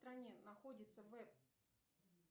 стране находится веб